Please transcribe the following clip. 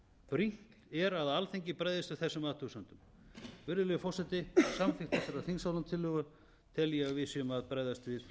brýnt er að alþingi bregðist við þessum athugasemdum virðulegi forseti með samþykkt þessarar þingsályktunartillögu tel ég að við séum að bregðast við